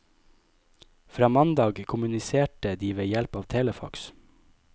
Fra mandag kommuniserte de ved hjelp av telefax.